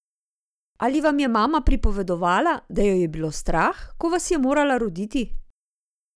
Ali vam je mama pripovedovala, da jo je bilo strah, ko vas je morala roditi?